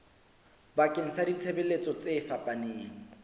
bakeng sa ditshebeletso tse fapaneng